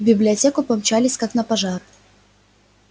в библиотеку помчались как на пожар